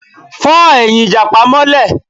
Fọ́ ẹ̀yìn ìjàpá mọ́lé